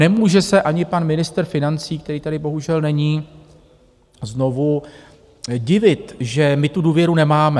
Nemůže se ani pan ministr financí, který tady bohužel není znovu, divit, že my tu důvěru nemáme.